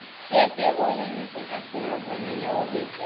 Setjið olíuna sem eftir var á pönnuna og hitið.